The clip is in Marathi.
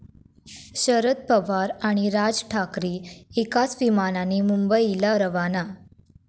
शरद पवार आणि राज ठाकरे एकाच विमानाने मुंबईला रवाना